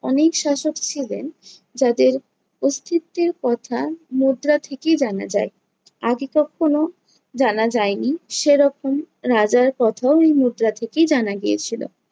অনেক শাসক ছিলেন যাদের অস্তিত্বের কথা মুদ্রা থেকেই জানা যায়। আগে কক্ষনো জানা যায় নি, সেরকম রাজার কথাও এই মুদ্রা থেকেই জানা গিয়েছিলো।